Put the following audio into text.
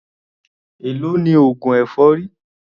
Èló ni oògùn èfọ́rí?